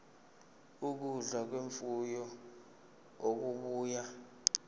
ukudla kwemfuyo okubuya